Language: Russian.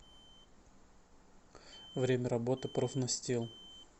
время работы профнастил